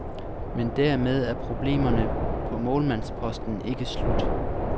Men dermed er problemerne på målmandsposten ikke slut.